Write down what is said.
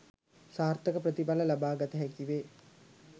සාර්ථක ප්‍රතිඵල ලබාගත හැකි වේ